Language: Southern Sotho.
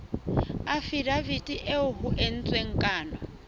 afidaviti eo ho entsweng kano